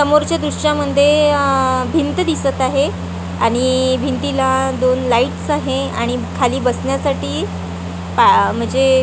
समोरच्या दृश्यामध्ये अअअ भिंत दिसत आहे आणि भिंतीला दोन लाईट्स आहे आणि खाली बसण्यासाठी पा म्हणजे --